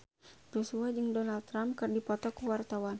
Joshua jeung Donald Trump keur dipoto ku wartawan